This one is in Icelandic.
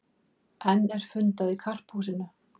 Enn fundað í Karphúsinu